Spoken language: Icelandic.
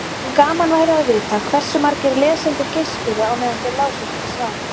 En gaman væri að vita hversu margir lesendur geispuðu á meðan þeir lásu þetta svar.